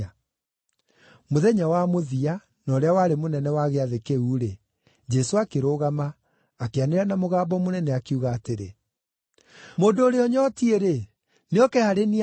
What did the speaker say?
Mũthenya wa mũthia, na ũrĩa warĩ mũnene wa Gĩathĩ kĩu-rĩ, Jesũ akĩrũgama, akĩanĩrĩra na mũgambo mũnene, akiuga atĩrĩ, “Mũndũ ũrĩa ũnyootiĩ-rĩ, nĩoke harĩ niĩ anyue.